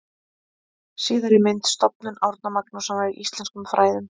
Síðari mynd: Stofnun Árna Magnússonar í íslenskum fræðum.